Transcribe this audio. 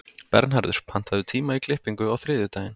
Bernharður, pantaðu tíma í klippingu á þriðjudaginn.